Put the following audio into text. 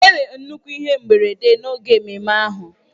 Enwere nnukwu ihe mberede n'oge ememme ahụ.